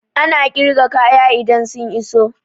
Ana ƙirga kaya idan sun iso